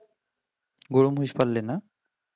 গরু-মহিষ পাললে না